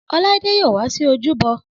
Ọláídé yóò wá sí ojúbọ